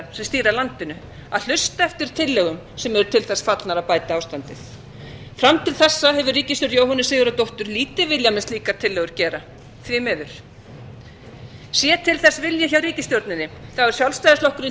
sem stýra landinu að hlusta eftir tillögum sem eru til þess fallnar að bæta ástandið fram til þessa hefur ríkisstjórn jóhönnu sigurðardóttur lítið viljað með slíkar tillögur gera því miður sé til þess vilji hjá ríkisstjórninni þá er sjálfstæðisflokkurinn